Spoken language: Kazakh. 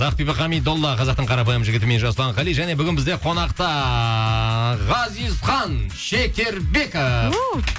ақбибі хамидолла қазақтың қарапайым жігітімен жасұлан қали және бүгін бізде қонақта ғазизхан шекербеков